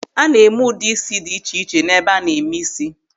A na-eme ụdị ísí dị iche iche n'ebe a na-eme ísí.